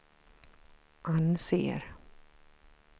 anser